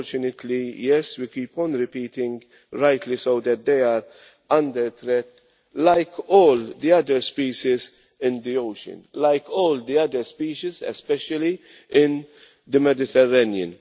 Unfortunately we keep on repeating, and rightly so, that they are under threat, like all the other species in the ocean, like all the other species especially in the Mediterranean.